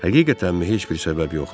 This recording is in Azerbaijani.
Həqiqətənmi heç bir səbəb yoxdur?